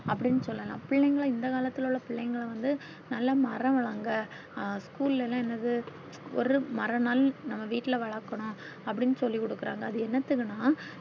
அப்டின்னு சொல்லல்லா பிள்ளைங்கள இந்த காலத்துள்ள உள்ள பிள்ளைங்கள வந்து நல்லா மரம் வழங்க அஹ் school ல்லா என்னது ஒரு மரம் நாளும் நம்ம வீட்டுல வளக்கணும் அப்டின்னு சொல்லி குடுக்குறாங்க அது என்னத்துக்குன்னா